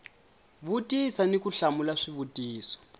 vutisa ni ku hlamula swivutiso